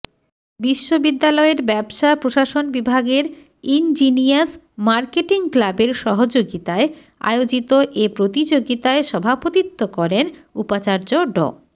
বিশ্ববিদ্যালয়ের ব্যবসা প্রশাসন বিভাগের ইনজিনিয়াস মার্কেটিং ক্লাবের সহযোগিতায় আয়োজিত এ প্রতিযোগিতায় সভাপতিত্ব করেন উপাচার্য ড